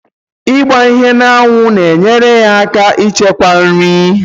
I gba ihe na anwu na enyere aka echekwa nri